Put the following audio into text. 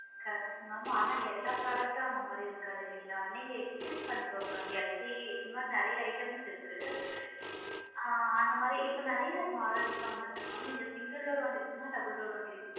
Correct madam ஆனா எல்லா product டும் அந்த மாதிரி இருக்காது இல்லைங்களா நீங்க exchange பண்ணிகோங்க madam எல்ஜி இந்த மாதிரி நிறைய items இருக்கு ஆ அந்த மாதிரி இப்ப நிறைய models லா வந்து இருக்கு mam நீங்க single door வாங்கி இருகிங்களா double door வாங்கி இருகிங்களா?